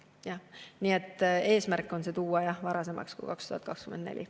Nii et eesmärk on tuua varasemaks kui 2024.